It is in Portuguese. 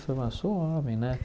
Falar, sou homem, né?